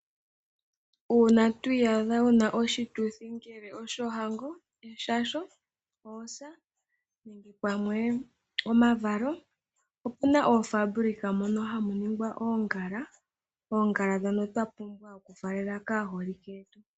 Uuna wuna oshituthi shohango , eshasho ,oosa nenge pamwe oshituthi shevalo opuna oofabulika mono hamu ningwa oongala ndhono twapumbwa okufaalela aaholike yetu.